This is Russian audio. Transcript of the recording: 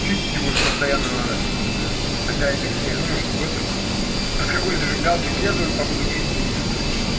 чистить его же постоянно надо такая канитель ну и чтобы это а с какой зажигалки пьезовой походу греть-то лучше